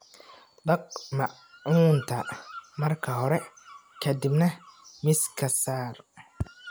Dhaq maacunta marka hore ka dibna miiska saar.